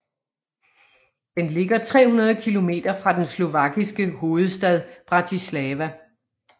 Den ligger 300 kilometer fra den slovakiske hovedstad Bratislava